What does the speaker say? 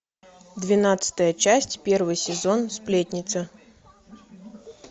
двенадцатая часть первый сезон сплетница